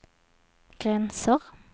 gränser